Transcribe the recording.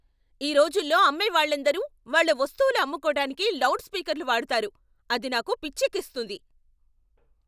ఈ రోజుల్లో అమ్మేవాళ్ళందరూ వాళ్ళ వస్తువులు అమ్ముకోటానికి లౌడ్ స్పీకర్లు వాడతారు, అది నాకు పిచ్చెక్కిస్తుంది.